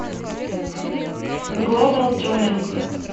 глобал тюнинг